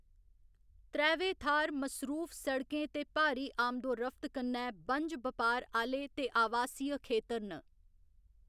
त्रैवै थाह्‌‌‌र मसरूफ सड़कें ते भारी आमदोरफ्त कन्नै बंज बपार आह्‌ले ते आवासीय खेतर न।